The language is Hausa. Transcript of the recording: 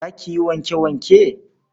Za ki yi wanke-wanke?